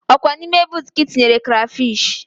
Ọkwa na ime boota ka ị tinyere krafish